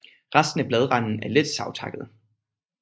Resten af bladranden er let savtakket